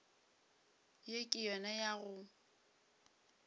ye ke yona ya go